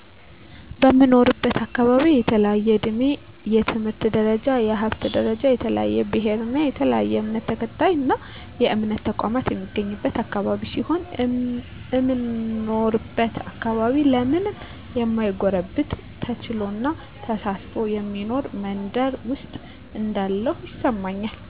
በምኖርበት አካባቢ በተለያየ እድሜ፣ የትምህርት ደረጃ፣ የሀብት ደረጃ፣ የተለያየ ብሔር እና የተለያየ እምነት ተከታይና የእምነት ተቋማት የሚገኝበት አካባቢ ሲሆን፣ እምኖርበት አካባቢ ለማንም ማይጎረብጥ ተቻችሎና ተሳስቦ የሚኖር መንደር ውስጥ እንዳለሁ ይሰማኛል።